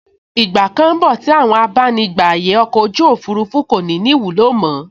Ìgbà kan n bọ̀ tí àwọn abánigbàyè ọkọ̀ ojú òfurufú kò ní ní ìwúlò mọ́